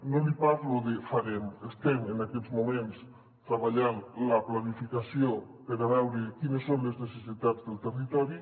no li parlo de farem estem en aquests moments treballant la planificació per veure quines són les necessitats del territori